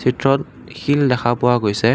চিত্ৰত শিল দেখা পোৱা গৈছে।